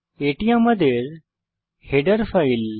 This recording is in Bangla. এটি আমাদের হেডার ফাইল